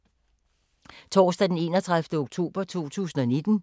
Torsdag d. 31. oktober 2019